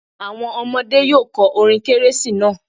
Àwọn ọmọdé́ yóò kọ orin kérésì náà.